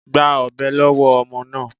Gba ọ̀bẹ lọ́wọ́ ọmọ náà.